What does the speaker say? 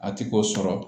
A ti k'o sɔrɔ